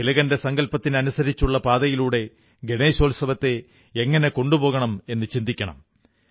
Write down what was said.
തിലകന്റെ സങ്കല്പത്തിനനുസരിച്ചുള്ള പാതയിലൂടെ ഗണേശോത്സവത്തെ എങ്ങനെ കൊണ്ടുപോകണം എന്നു ചിന്തിക്കണം